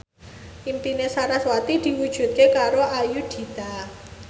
impine sarasvati diwujudke karo Ayudhita